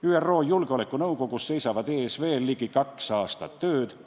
ÜRO Julgeolekunõukogus seisab ees veel ligi kaks aastat tööd.